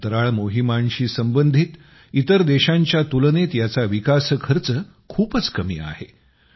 अंतराळ मोहिमांशी संबंधित इतर देशांच्यातुलनेत याचा विकास खर्च खूपच कमी आहे